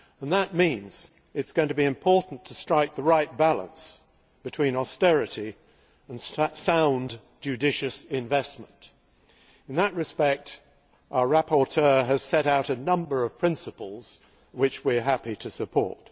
That means that it is going to be important to strike the right balance between austerity and sound, judicious investment. In that respect, our rapporteur has set out a number of principles which we are happy to support.